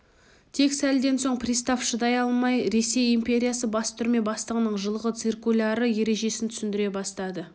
тек сәлден соң пристав шыдай алмай ресей империясы бас түрме бастығының жылғы циркулярлы ережесін түсіндіре бастады